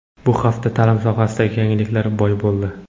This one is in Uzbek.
Bu hafta ta’lim sohasidagi yangiliklarga boy bo‘ldi.